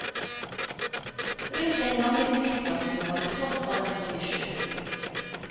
Rundt den gamle flyplassen var det tross alt mye sjø.